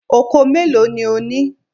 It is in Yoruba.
Oko mélòó ni ó ní?